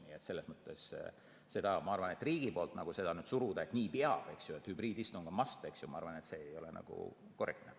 Nii et selles mõttes ma arvan, et riigi poolt seda peale suruda, et nii peab, eks ju, ja hübriidistung on must, ei ole nagu korrektne.